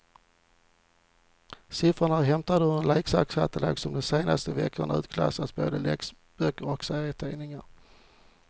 Siffrorna är hämtade ur en leksakskatalog som de senaste veckorna utklassat både läxböcker och serietidningar.